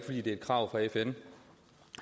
det er et krav fra fn